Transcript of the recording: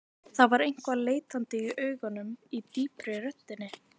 Það var eitthvað leitandi í augunum, í djúpri röddinni.